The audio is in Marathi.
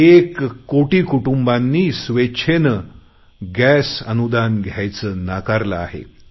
एक कोटी कुटुंबांनी स्वेच्छेने गॅस अनुदान घ्यायचे नाकारले आहे